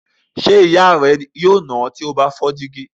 Ṣé ìyá rẹ yóò nà ọ́ tí o bá fọ́ dígí?